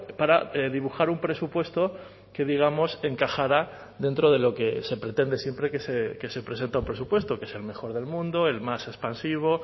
para dibujar un presupuesto que digamos encajara dentro de lo que se pretende siempre que se presenta un presupuesto que es el mejor del mundo el más expansivo